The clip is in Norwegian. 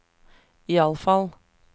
iallfall